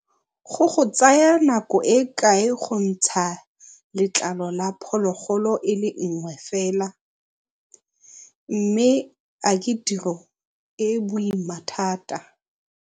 Go go tsaya nako e kae go ntsha letlalo la phologolo e le nngwe fela mme a ke tiro e e boima thata?